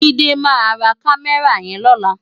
Jide má rá Kàmèrá yèn lòlá